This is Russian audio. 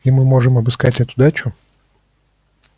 и мы можем обыскать эту дачу